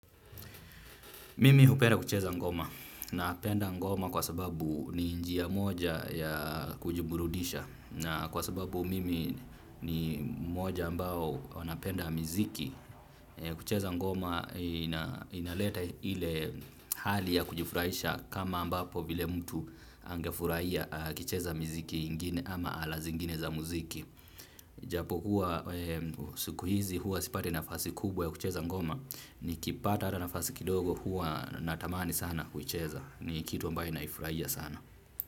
Mimi hupenda kucheza ngoma napenda ngoma kwa sababu ni njia moja ya kujiburudisha na kwa sababu mimi ni mmoja ambao wanapenda muziki. Kucheza ngoma inaleta ile hali ya kujifurahisha kama ambapo vile mtu angefurahia kucheza muziki mwingine ama ala zingine za muziki. Japo huwa siku hizi huwa sipati nafasi kubwa ya kucheza ngoma. Nikipata hata nafasi kidogo huwa natamani sana kucheza. Ni kitu ambayo naifurahia sana.